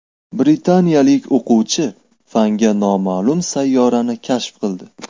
Britaniyalik o‘quvchi fanga noma’lum sayyorani kashf qildi.